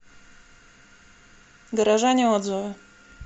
горожане отзывы